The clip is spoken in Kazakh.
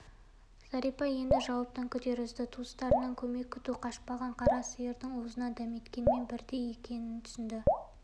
зәрипа енді жауаптан күдер үзді туыстарынан көмек күту қашпаған қара сиырдың уызынан дәметкенмен бірдей екенін түсінді